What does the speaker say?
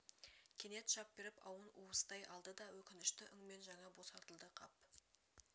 кенет шап беріп ауын уыстай алды да өкінішті үнңмен жаңа босатылды қап